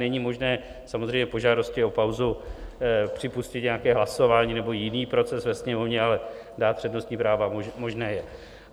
Není možné samozřejmě po žádosti o pauzu připustit nějaké hlasování nebo jiný proces ve Sněmovně, ale dát přednostní práva možné je.